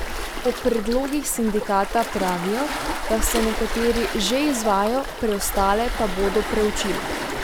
O predlogih sindikata pravijo, da se nekateri že izvajajo, preostale pa da bodo preučili.